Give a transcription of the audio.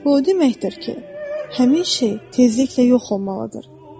O deməkdir ki, həmin şey tezliklə yox olmalıdır.